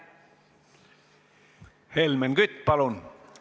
Helmen Kütt, palun!